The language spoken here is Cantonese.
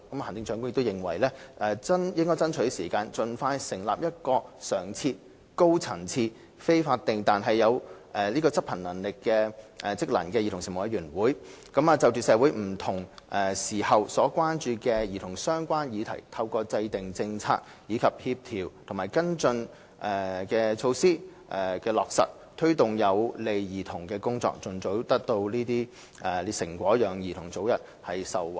行政長官認為應爭取時間，盡快成立一個常設、高層次、非法定但有職能的委員會，就社會不同時候所關注與兒童相關的議題，透過制訂政策及落實協調和跟進措施，推動有利兒童的工作，盡早取得成果，讓兒童早日受惠。